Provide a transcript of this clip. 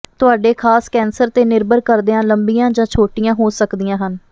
ਤੁਹਾਡੇ ਖਾਸ ਕੈਂਸਰ ਤੇ ਨਿਰਭਰ ਕਰਦਿਆਂ ਲੰਬੀਆਂ ਜਾਂ ਛੋਟੀਆਂ ਹੋ ਸਕਦੀਆਂ ਹਨ